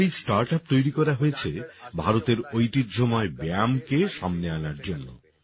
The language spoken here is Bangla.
আমাদের এই স্টার্টআপ তৈরি করা হয়েছে ভারতের ঐতিহ্যময় ব্যায়ামকে সামনে আনার জন্যে